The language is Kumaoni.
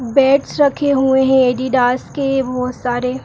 बैट रखे हैं अद्दिदास के बहोत सारे।